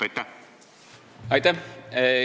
Aitäh!